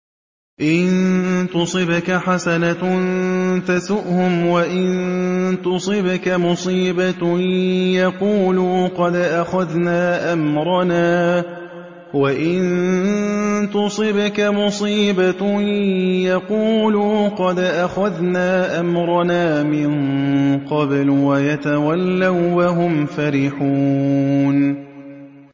إِن تُصِبْكَ حَسَنَةٌ تَسُؤْهُمْ ۖ وَإِن تُصِبْكَ مُصِيبَةٌ يَقُولُوا قَدْ أَخَذْنَا أَمْرَنَا مِن قَبْلُ وَيَتَوَلَّوا وَّهُمْ فَرِحُونَ